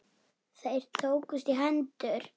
Þeir tókust í hendur.